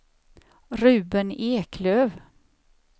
Ruben Eklöf